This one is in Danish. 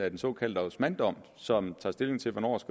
af den såkaldte osmandom som tager stilling til hvornår